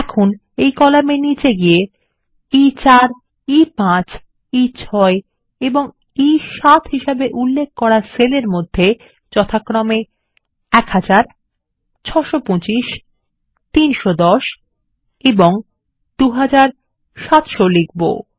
এখন কলামে নিচে গিয়ে আমরা ই4 E5 ই6 এবং ই7 হিসেবে উল্লেখ করা সেলের মধ্যে যথাক্রমে1000 625 310 এবং 2700 লিখব